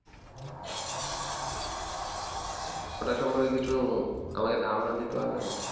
ওটা সম্পর্কে কিছু আমাকে ধারণা দিতে পারবেন